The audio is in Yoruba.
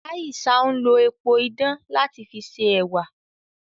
Aisha n lo epo idán lati fi ṣe ẹwà.